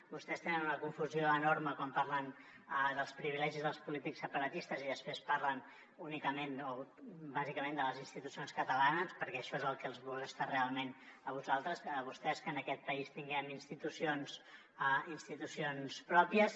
vostès tenen una confusió enorme quan parlen dels privilegis dels polítics separatistes i després parlen únicament o bàsicament de les institucions catalanes perquè això és el que els molesta realment a vostès que en aquest país tinguem institucions pròpies